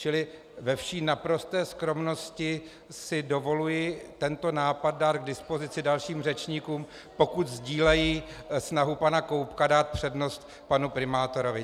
Čili ve vší naprosté skromnosti si dovoluji tento nápad dát k dispozici dalším řečníkům, pokud sdílejí snahu pana Koubka dát přednost panu primátorovi.